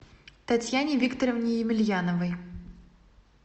татьяне викторовне емельяновой